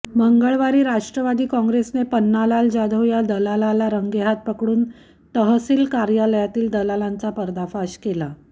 मंगळवारी राष्ट्रवादी काँग्रेसने पन्नालाल जाधव या दलालाला रंगेहात पकडून तहसील कार्यालयातील दलालांचा पर्दाफाश केला